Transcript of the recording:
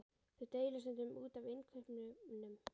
Þau deila stundum út af innkaupunum.